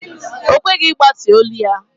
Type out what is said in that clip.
Ọ kweghị ịgbatị olu ya.